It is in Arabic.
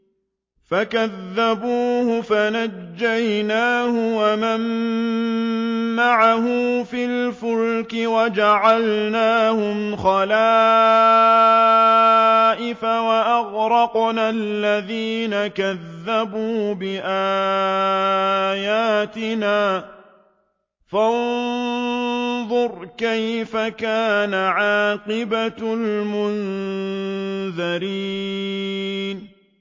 فَكَذَّبُوهُ فَنَجَّيْنَاهُ وَمَن مَّعَهُ فِي الْفُلْكِ وَجَعَلْنَاهُمْ خَلَائِفَ وَأَغْرَقْنَا الَّذِينَ كَذَّبُوا بِآيَاتِنَا ۖ فَانظُرْ كَيْفَ كَانَ عَاقِبَةُ الْمُنذَرِينَ